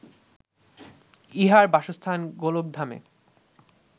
ইঁহার বাসস্থান গোলকধামে